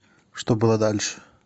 что было дальше